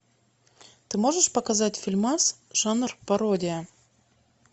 ты можешь показать фильмас жанр пародия